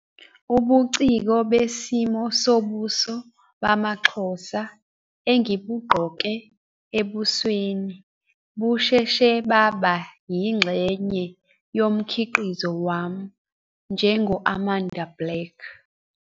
Ubuciko besimo sobuso bamaXhosa engibugqoke ebusweni busheshe baba yingxenye yomkhiqizo wami njengo-Amanda Black.